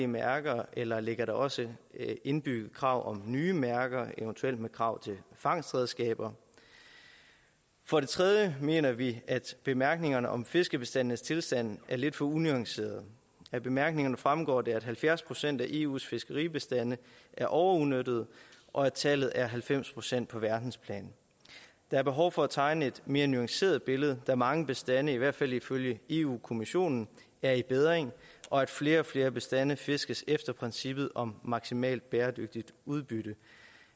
mærker eller ligger der også et indbygget krav om nye mærker eventuelt med krav til fangstredskaber for det tredje mener vi at bemærkningerne om fiskebestandenes tilstand er lidt for unuancerede af bemærkningerne fremgår det at halvfjerds procent af eus fiskebestande er overudnyttet og at tallet er halvfems procent på verdensplan der er behov for at tegne et mere nuanceret billede da mange bestande i hvert fald ifølge europa kommissionen er i bedring og flere og flere bestande fiskes efter princippet om maksimalt bæredygtigt udbytte